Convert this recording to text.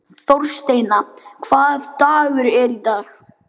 Þorsteina, hvaða dagur er í dag?